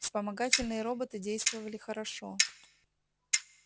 вспомогательные роботы действовали хорошо